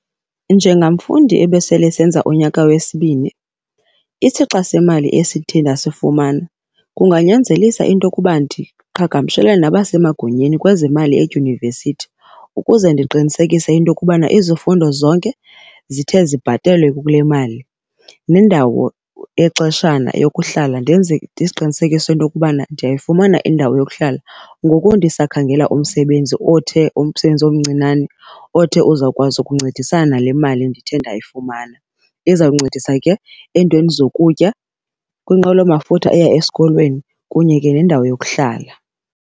Njengamfundi ebesele esenza unyaka wesibini isixa semali esithe ndasifumana kunganyanzelisa into kuba ndiqhagamshelane nabasemagunyeni kwezemali edyunivesithi, ukuze ndiqinisekise into kubana izifundo zonke zithe zibhatelwe kule mali. Nendawo yexeshana eyokuhlala ndiziqinisekise ukuba ndiyayifumana indawo yokuhlala ngoku ndisakhangela umsebenzi othe umsebenzi omncinane othe uza kukwazi ukuncedisana nale mali ndithe ndayifumana. Izawuncedisa ke eentweni zokutya, kwinqwelomafutha eya esikolweni, kunye ke nendawo yokuhlala.